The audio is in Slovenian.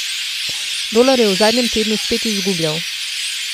Dolar je v zadnjem tednu spet izgubljal.